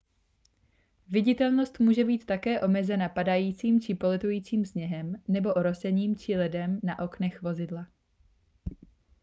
viditelnost může být také omezena padajícím či poletujícím sněhem nebo orosením či ledem na oknech vozidla